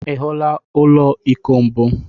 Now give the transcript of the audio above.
Ị hụla ụlọ iko mbụ?